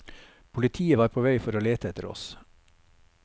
Politiet var på vei for å lete etter oss.